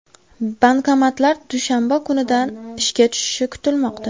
Bankomatlar dushanba kunidan ishga tushishi kutilmoqda.